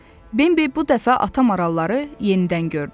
Bembi bu dəfə ata maralları yenidən gördü.